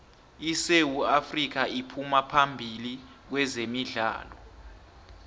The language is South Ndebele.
isewu afrika iphuma phambili kwezemidlalo